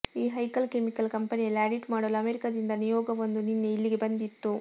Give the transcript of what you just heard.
ಈ ಹೈಕಲ್ ಕೆಮಿಕಲ್ ಕಂಪನಿಯಲ್ಲಿ ಆಡಿಟ್ ಮಾಡಲು ಅಮೆರಿಕದಿಂದ ನಿಯೋಗವೊಂದು ನಿನ್ನೆ ಇಲ್ಲಿಗೆ ಬಂದಿತ್ತು